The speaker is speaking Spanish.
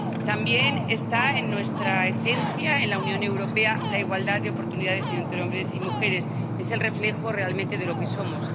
También está en nuestra esencia, en la Unión Europea, la igualdad de oportunidades entre hombres y mujeres es el reflejo realmente de lo que somos.